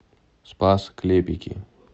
спас клепики